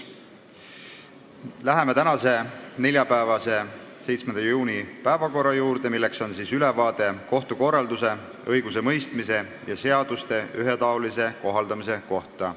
Läheme tänase, 7. juuni päevakorra juurde, mille ainus punkt on ülevaade kohtukorralduse, õigusemõistmise ja seaduste ühetaolise kohaldamise kohta.